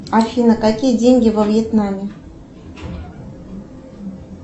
афина какие деньги во вьетнаме